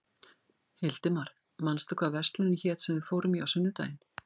Hildimar, manstu hvað verslunin hét sem við fórum í á sunnudaginn?